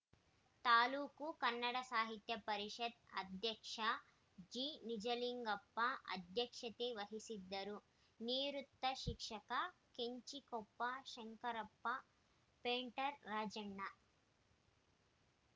ತಾಲೂಕು ಕನ್ನಡ ಸಾಹಿತ್ಯ ಪರಿಷತ್ ಅಧ್ಯಕ್ಷ ಜಿನಿಜಲಿಂಗಪ್ಪ ಅಧ್ಯಕ್ಷತೆ ವಹಿಸಿದ್ದರು ನಿವೃತ್ತ ಶಿಕ್ಷಕ ಕೆಂಚಿಕೊಪ್ಪ ಶಂಕರಪ್ಪ ಪೇಂಟರ್‌ ರಾಜಣ್ಣ